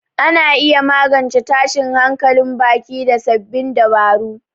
Ana iya magance tashin hankalin baki da sabbin dabaru.